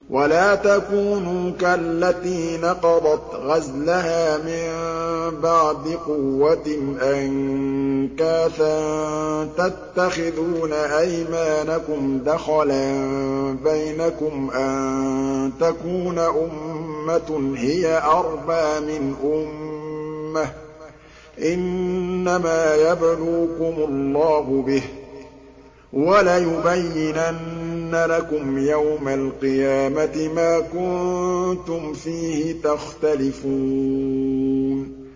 وَلَا تَكُونُوا كَالَّتِي نَقَضَتْ غَزْلَهَا مِن بَعْدِ قُوَّةٍ أَنكَاثًا تَتَّخِذُونَ أَيْمَانَكُمْ دَخَلًا بَيْنَكُمْ أَن تَكُونَ أُمَّةٌ هِيَ أَرْبَىٰ مِنْ أُمَّةٍ ۚ إِنَّمَا يَبْلُوكُمُ اللَّهُ بِهِ ۚ وَلَيُبَيِّنَنَّ لَكُمْ يَوْمَ الْقِيَامَةِ مَا كُنتُمْ فِيهِ تَخْتَلِفُونَ